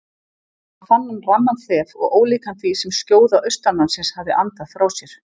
Þá fann hann ramman þef og ólíkan því sem skjóða austanmannsins hafði andað frá sér.